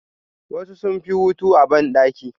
Wasu sunfi hotu a bandaki.